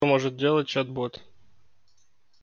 может делать чат-бот